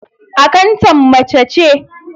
Akantan mace ce.